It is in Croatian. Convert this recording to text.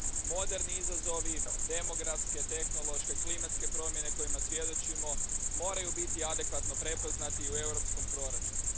Moderni izazovi, demografske, tehnološke, klimatske promjene kojima svjedočimo moraju biti adekvatno prepoznati u europskom proračunu.